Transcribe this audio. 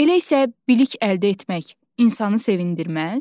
Elə isə bilik əldə etmək insanı sevindirməz?